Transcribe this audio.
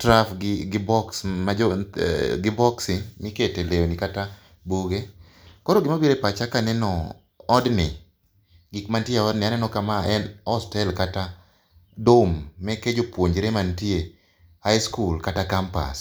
trough gi boksi mikete lewni kata buge. Koro gima biro e pacha kaneno odni, gik mantie e odni aneno ka ma en hostel kata dorm meke jopuonjre mantie high school kata campus.